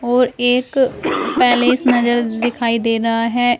और एक पैलेस नजर दिखाई दे रहा है।